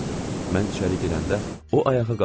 Mən içəri girəndə o ayağa qalxmadı.